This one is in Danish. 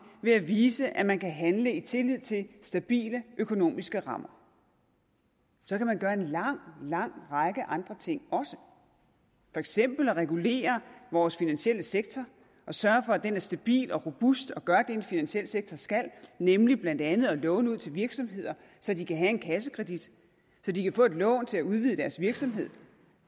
ved at vise at man kan handle i tillid til stabile økonomiske rammer så kan man gøre en lang lang række andre ting også for eksempel regulere vores finansielle sektor og sørge for at den er stabil og robust og gør det en finansiel sektor skal nemlig blandt andet at låne ud til virksomheder så de kan have en kassekredit så de kan få et lån til at udvide deres virksomhed